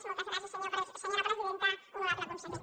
moltes gràcies senyora presidenta honorable conseller